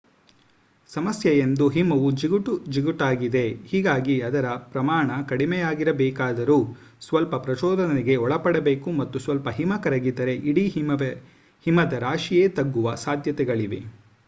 ಸಮಸ್ಯೆಯೆಂದು ಹಿಮವು ಜಿಗುಟು ಜಿಗುಟಾಗಿದೆ ಹೀಗಾಗಿ ಅದರ ಪ್ರಮಾಣ ಕಡಿಮೆಯಾಗಬೇಕಾದರೂ ಸ್ವಲ್ಪ ಪ್ರಚೋದನೆಗೆ ಒಳಪಡಬೇಕು ಮತ್ತು ಸ್ವಲ್ಪ ಹಿಮ ಕರಗಿದರೆ ಇಡೀ ಹಿಮದ ರಾಶಿಯೇ ತಗ್ಗುವ ಸಾಧ್ಯತೆಗಳಿವೆ